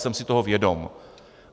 Jsem si toho vědom.